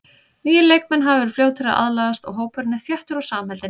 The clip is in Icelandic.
Nýir leikmenn hafa verið fljótir að aðlagast og hópurinn er þéttur og samheldinn.